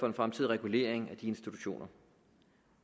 en fremtidig regulering af de institutioner